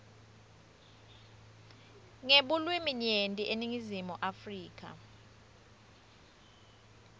ngebulwiminyenti eningizimu afrika